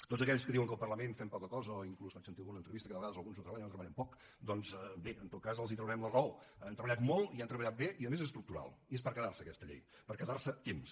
tots aquells que diuen que al parlament fem poca cosa o inclús vaig sentir en alguna entrevista que a vegades alguns no treballen o treballen poc doncs bé en tot cas els traurem la raó han treballat molt i han treballat bé i a més és estructural i és per quedar se aquesta llei per quedar se temps